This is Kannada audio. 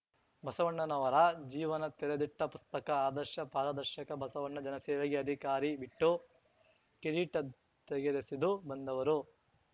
ಬಸವಣ್ಣನವರ ಜೀವನ ತೆರೆದಿಟ್ಟಪುಸ್ತಕ ಆದರ್ಶ ಪಾರದರ್ಶಕ ಬಸವಣ್ಣ ಜನಸೇವೆಗೆ ಅಧಿಕಾರಿ ಬಿಟ್ಟು ಕಿರೀಟ ತೆಗೆದೆಸೆದು ಬಂದವರು